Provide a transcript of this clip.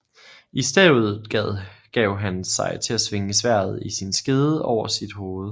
I stedet gav han sig til at svinge sværdet i sin skede over sit hoved